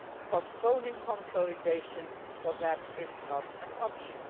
postponing consolidation for them is not an option.